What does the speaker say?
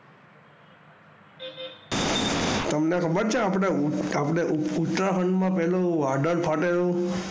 તમને ખબર છે આપડે ઉત્તરાખંડ માં પહેલું વાદળ ફાટેલું,